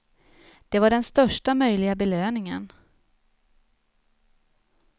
Det var den största möjliga belöningen.